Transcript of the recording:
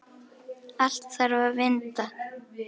Allt þarf að vinda.